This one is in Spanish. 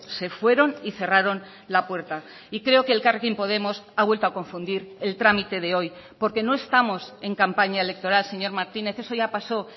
se fueron y cerraron la puerta y creo que elkarrekin podemos ha vuelto a confundir el trámite de hoy porque no estamos en campaña electoral señor martínez eso ya paso